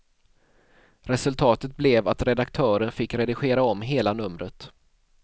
Resultatet blev att redaktören fick redigera om hela numret.